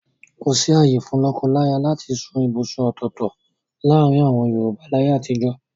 Kòsí ààyè fún lọ́kọláyà láti sún ibùsùn ọ̀tọ̀ọ̀tọ̀ láàrin àwọn Yorùbá láyé àtijọ́.